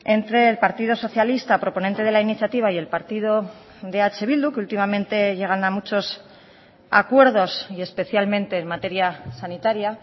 entre el partido socialista proponente de la iniciativa y el partido de eh bildu que últimamente llegan a muchos acuerdos y especialmente en materia sanitaria